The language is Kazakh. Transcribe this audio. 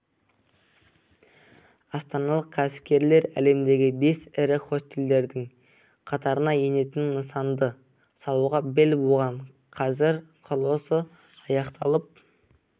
астаналық кәсіпкерлер әлемдегі бес ірі хостелдердің қатарына енетін нысанды салуға бел буған қазір құрылысы аяқталып